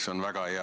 Kõnesoove ei ole.